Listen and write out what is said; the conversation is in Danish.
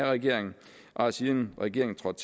regeringen bare siden regeringen trådte